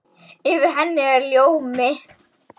Yfir henni er ljómi.